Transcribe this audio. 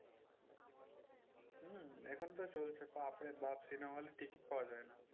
হম এখন তো চলছে বাপ্ রে বাপ্ cinema hall এ টিকিট পাওয়া যায় না।